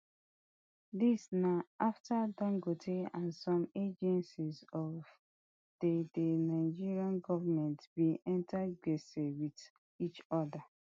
dis na afta dangote and some agencies of di di nigeria goment bin enta gbese wit each oda